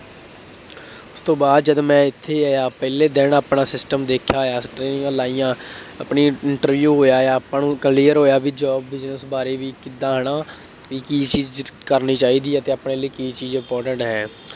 ਉਸ ਤੋਂ ਬਾਅਦ ਜਦੋਂ ਮੈਂ ਇੱਥੇ ਆਇਆ ਪਹਿਲੇ ਦਿਨ ਆਪਣਾ system ਦੇਖਿਆ ਹੋਇਆ। ਲਾਈਆਂ, ਆਪਣੀ into interview ਆਪਾਂ ਨੂੰ clear ਹੋਇਆ ਬਈ job, business ਬਾਰੇ ਵੀ, ਕਿਦਾਂ ਹੈ ਨਾ ਬਈ ਕੀ ਚੀਜ਼ ਕਰਨੀ ਚਾਹੀਦੀੌ ਹੈ ਅਤੇ ਆਪਣੇ ਲਈ ਕੀ ਚੀਜ਼ important ਹੈ।